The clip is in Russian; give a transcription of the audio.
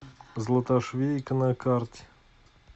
златошвейка на карте